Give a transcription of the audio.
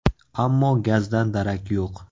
Ammo gazdan darak yo‘q.